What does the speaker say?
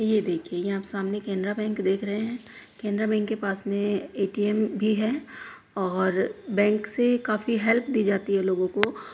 ये देखिए यहाँ प सामने केनरा बैंक देख रहे हैं। केनरा बैंक के पास में ए.टी.एम. भी है और बैंक से काफी हेल्प दी जाती है लोगों को।